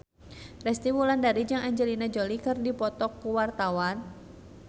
Resty Wulandari jeung Angelina Jolie keur dipoto ku wartawan